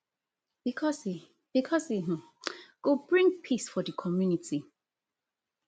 because e because e um go bring peace for di community